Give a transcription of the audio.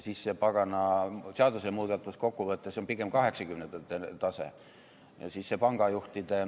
See pagana seadusemuudatus kokkuvõttes on pigem kaheksakümnendate tase.